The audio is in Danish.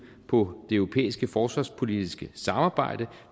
på det europæiske forsvarspolitiske samarbejde